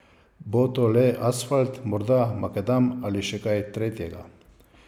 Bo to le asfalt, morda makadam ali še kaj tretjega.